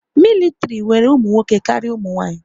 Mịlịtịrị nwere ụmụnwoke karịa umunwaanyị